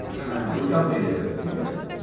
হ্যাঁ ওইটা হয়ে যাবে। ঠিক আছে